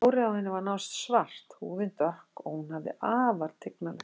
Hárið á henni var nánast svart, húðin dökk og hún hafði afar tignarlegt nef.